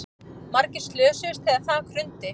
Margir slösuðust þegar þak hrundi